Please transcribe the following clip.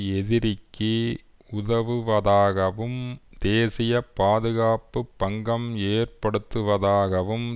எதிரிக்கு உதவுவதாகவும் தேசிய பாதுகாப்பு பங்கம் ஏற்படுத்துவதாகவும்